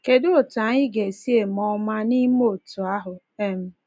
Kedu otú anyị ga-esi eme ọma n’ime otú ahụ? um